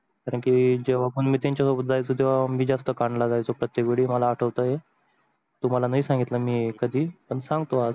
कारण की जेव्हा पण मी त्यांच्या सोबत जायच तेव्हा मी जास्त कांडला जायचो प्रतेक वेळी मला आठवते तुम्हाला नाही सांगितल कधी पण सांगतो आज, नवीन गोष्ट कोणती आहे.